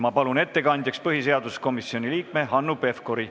Ma palun ettekandjaks põhiseaduskomisjoni liikme Hanno Pevkuri.